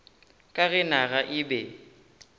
ka ge naga e be